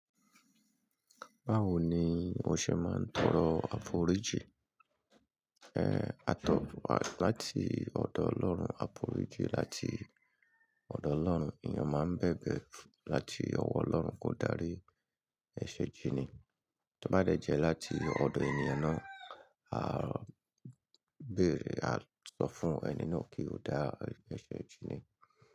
Báwo ni mo ṣe máa ń tọrọ àforíjì? Àtọ̀wọ̀ wá láti ọ̀dọ̀ Ọlọ́run, àforíjì láti ọ̀dọ̀ Ọlọ́run. Èèyàn máa ń bèbè láti ọwọ́ Ọlọ́run kó darí ẹ̀ṣẹ̀ jíni. Tó bá dẹ̀ jẹ́ láti ọ̀dọ̀ ènìyàn náà, a bẹ̀rẹ̀, a sọ fún ẹni náà kí ó dá ẹ̀ṣẹ̀ jíni.